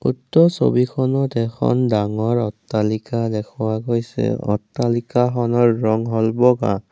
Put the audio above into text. উক্ত ছবিখনত এখন ডাঙৰ অট্টালিকা দেখুওৱা গৈছে অট্টালিকাখনৰ ৰং হ'ল বগা।